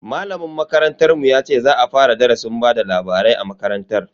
Malamin makarantar mu ya ce za a fara darasin bada labarai a makarantar.